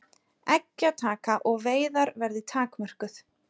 Eggjataka og veiðar verði takmörkuð